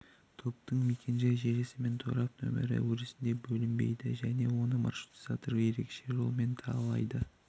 топтың мекен-жай желісі мен торап нөмірі өрісіне бөлінбейді және оны маршрутизатор ерекше жолмен талдайды